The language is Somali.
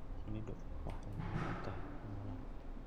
Shinnidu waxay muhiim u tahay noolaha.